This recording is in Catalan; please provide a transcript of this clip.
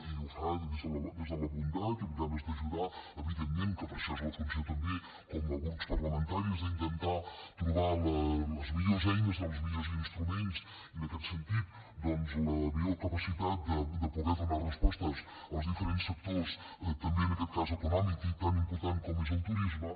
i ho fa des de la bondat i amb ganes d’ajudar evidentment que per això és la funció també com a grups parlamentaris d’intentar trobar les millors eines i els millors instruments i en aquest sentit la millor capacitat de poder donar respostes als diferents sectors també en aquest cas econòmic i tan important com és el turisme